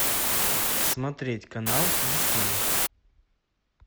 смотреть канал дисней